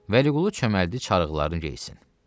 Vəliqulu çöməldi çarıqlarını geyinsin.